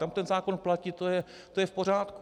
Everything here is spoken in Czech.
Tam ten zákon platí, to je v pořádku.